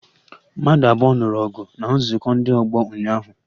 Mmadụ abụọ nụrụ ọgụ na nzukọ ndị ọgbọ ụnyaahụ